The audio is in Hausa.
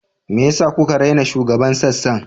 Me yasa kuka raina shugaban sassan?